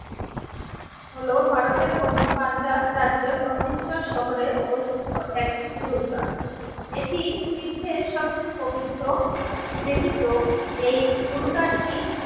হলো ভারতের পঞ্চ পাঞ্চাল রাজ্যের অমৃতসর শহরে অবস্থিত একটি গুরুদ্বার। এটি শিখদের সবচেয়ে পবিত্র বিবেচিত এই গুরুদার টি